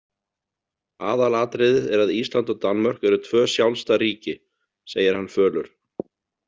Aðalatriðið er að Ísland og Danmörk eru tvö sjálfstæð ríki, segir hann fölur.